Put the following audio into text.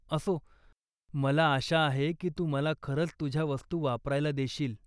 असो, मला आशा आहे की तू मला खरंच तुझ्या वस्तू वापरायला देशील.